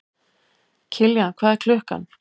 Kiljan, hvað er klukkan?